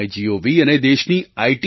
MyGov અને દેશની આઈ